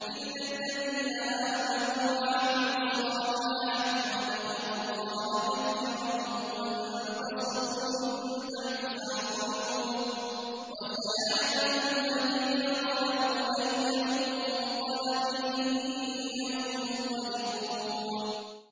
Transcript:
إِلَّا الَّذِينَ آمَنُوا وَعَمِلُوا الصَّالِحَاتِ وَذَكَرُوا اللَّهَ كَثِيرًا وَانتَصَرُوا مِن بَعْدِ مَا ظُلِمُوا ۗ وَسَيَعْلَمُ الَّذِينَ ظَلَمُوا أَيَّ مُنقَلَبٍ يَنقَلِبُونَ